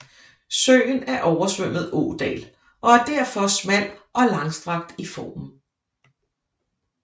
Søen er oversvømmet ådal og er derfor smal og langstrakt i formen